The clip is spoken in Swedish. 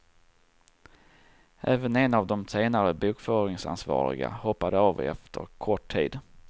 Även en av de senare bokföringsansvariga hoppade av efter kort tid.